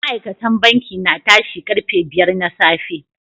Ma'aikatan banki na tashi karfe biyar na safe.